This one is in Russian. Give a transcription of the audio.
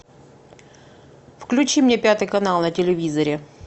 включи мне пятый канал на телевизоре